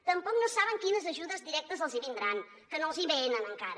tampoc no saben quines ajudes directes els vindran que no els venen encara